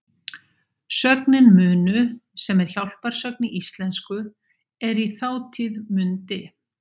Sögnin munu, sem er hjálparsögn í íslensku, er í þátíð mundi.